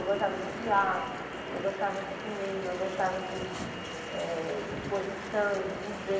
Eu gostava de teatro, eu gostava de cinema, eu gostava de eh de exposição, de museu.